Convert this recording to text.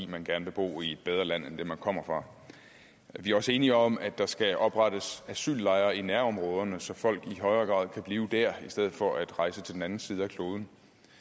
man gerne vil bo i et bedre land end det man kommer fra vi er også enige om at der skal oprettes asyllejre i nærområderne så folk i højere grad kan blive der i stedet for at rejse til den anden side af kloden